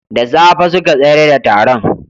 Da safe suka tsayar da taron